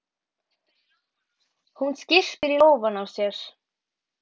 Hún skyrpir í lófana á sér.